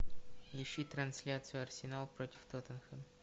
ищи трансляцию арсенал против тоттенхэм